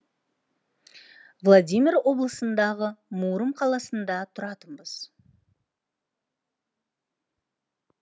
владимир облысындағы муром қаласында тұратынбыз